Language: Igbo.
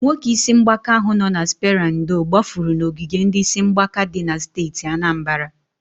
Nwoke isi mgbaka ahu nọ na spera ndo gbafụrụ n'ogige ndi isi mgbaka di na steeti Anambara.